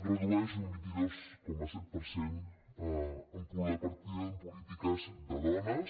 redueix un vint dos coma set per cent la partida en polítiques de dones